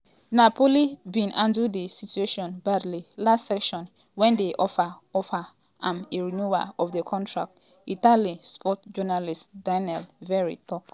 “napoli bin handle di situation badly last season wen dem offer offer am a renewal of di contract” italian sports journalist daniele verri tok.